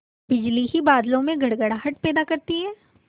बिजली ही बादलों में गड़गड़ाहट पैदा करती है